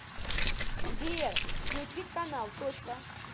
сбер включить канал точка